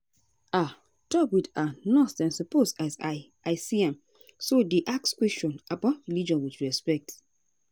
ah doc with ah nurse dem suppose as i i see am so dey ask questions about religion with respect.